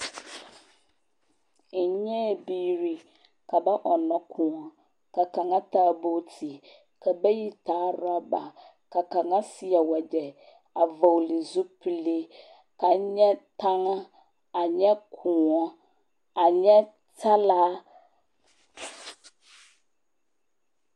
N nyɛɛ biiri ka ba ɔnnɔ kõɔ. Ka kaŋa taa booti, ka bayi taa rɔba. Ka kaŋa seɛ wagyɛ a vɔgele zupilii. Ka N nyɛ taŋaa, a nyɛ kõɔ, a nyɛ talaa.